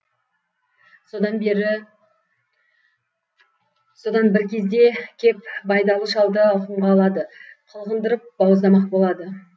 содан бір кезде кеп байдалы шалды алқымға алады қылғындырып бауыздамақ болады